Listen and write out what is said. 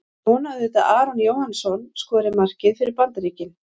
Ég vona auðvitað að Aron Jóhannsson skori markið fyrir Bandaríkin.